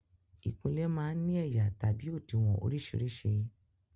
Ìkunlé máa ń ní ẹ̀yà àti òdiwọ̀n orísìírísìí.